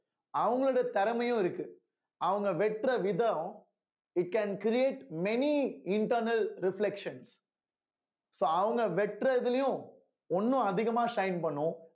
அவங்களோட திறமையும் இருக்கு அவுங்க வெட்டுற விதம் it can create many internal reflections so அவங்க வெட்டுறதுலயும் ஒண்ணும் அதிகமா shine பண்ணும்